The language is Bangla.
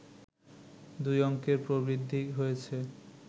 দুই অংকের প্রবৃদ্ধি হয়েছে